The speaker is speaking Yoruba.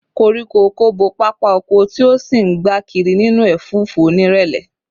Koríko ọ̀kọ̀ bo pápá oko, tí ó sì ń gbá kiri nínú ẹ̀fúùfù onírẹ̀lẹ̀